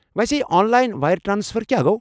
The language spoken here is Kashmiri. ویسے، یہِ آنلاین وایر ٹرٛانسفر کیٛاہ گوٚو؟